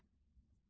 Ç.